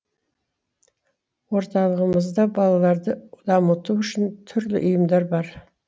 орталығымызда балаларды дамыту үшін түрлі үйірмелер бар